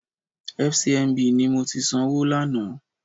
FCMB ni mo ti sanwó lánàá.